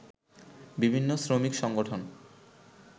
বিভিন্ন শ্রমিক সংগঠন